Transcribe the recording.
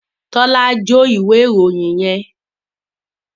Tola jo ìwé ìròyìn yén.